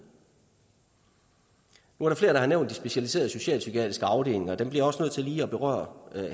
nu er der flere der har nævnt de specialiserede socialpsykiatriske afdelinger og dem bliver jeg også nødt til lige at berøre